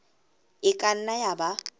e ka nna ya ba